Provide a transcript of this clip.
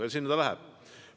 Ja sinna ta läheb.